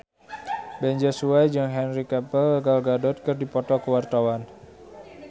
Ben Joshua jeung Henry Cavill Gal Gadot keur dipoto ku wartawan